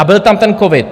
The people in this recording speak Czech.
A byl tam ten covid.